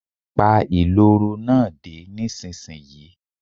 Pa ìloro náà dé, nísinsìnyí.